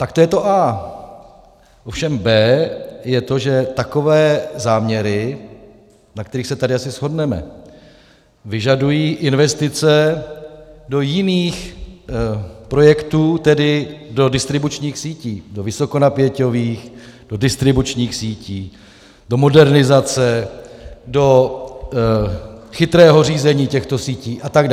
Tak to je to A. Ovšem B je to, že takové záměry, na kterých se tady asi shodneme, vyžadují investice do jiných projektů, tedy do distribučních sítí, do vysokonapěťových, do distribučních sítí, do modernizace, do chytrého řízení těchto sítí atd.